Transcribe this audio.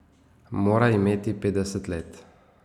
Mora imeti petdeset let.